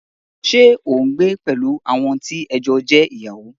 Ṣé o n gbé pẹ̀lú àwọn tí ẹ jọ jẹ́ ìyàwó?